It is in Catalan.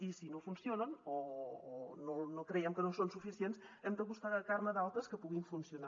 i si no funcionen o creiem que no són suficients hem de buscar adaptar ne d’altres que puguin funcionar